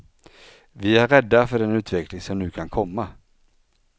Vi är rädda för den utveckling som nu kan komma.